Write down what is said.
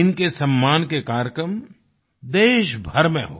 इनके सम्मान के कार्यक्रम देशभर में हो